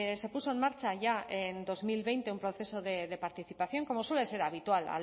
se puso en marcha ya en dos mil veinte un proceso de participación como suele ser habitual